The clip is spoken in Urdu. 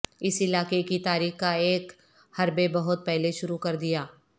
اس علاقے کی تاریخ کا ایک حربے بہت پہلے شروع کر دیا